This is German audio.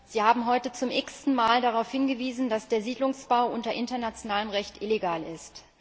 Sie haben heute zum x ten Mal darauf hingewiesen, dass der Siedlungsbau unter internationalem Recht illegal ist.